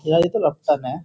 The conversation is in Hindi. यार ये तो लफटन है।